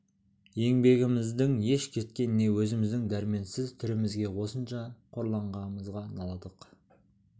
еңбегіміздің еш кеткеніне өзіміздің дәрменсіз түрімізге осынша қорланғанымызға налыдық